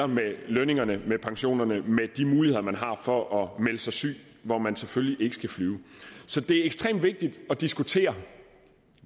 med lønningerne med pensionerne med de muligheder man har for at melde sig syg hvor man selvfølgelig ikke skal flyve så det er ekstremt vigtigt at diskutere